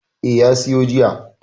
Eh, ya siyo jiya.